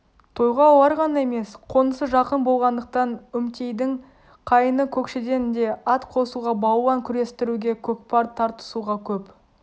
тойға олар ғана емес қонысы жақын болғандықтан үмтейдің қайыны көкшеден де ат қосуға балуан күрестіруге көкпар тартысуға көп